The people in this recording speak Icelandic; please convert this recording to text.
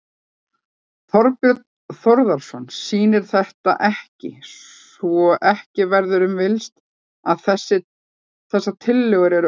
Þorbjörn Þórðarson: Sýnir þetta ekki, svo ekki verður um villst, að þessar tillögur eru óraunhæfar?